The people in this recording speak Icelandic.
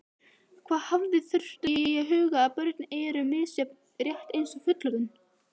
Hafa þarf í huga að börn eru misjöfn rétt eins og fullorðnir.